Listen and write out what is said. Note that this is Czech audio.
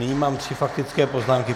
Nyní mám tři faktické poznámky.